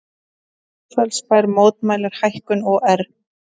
Mosfellsbær mótmælir hækkunum OR